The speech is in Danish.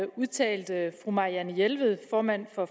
udtalte fru marianne jelved formanden for